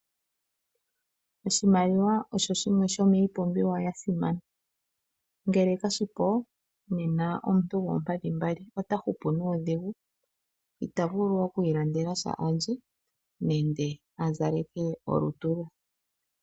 Oshikunino osho shimwe shomiipumbiwa ya simana ngelw kashipo nena omuntu goompadhi mbali otahupu nuudhigu itavulu oku ilandelasha alye nenge azaleke olutu lwe.